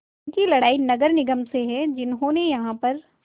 उनकी लड़ाई नगर निगम से है जिन्होंने यहाँ पर